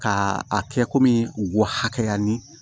Ka a kɛ komi u w hayanin